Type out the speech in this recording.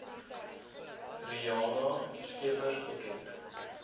riana scheepers bekend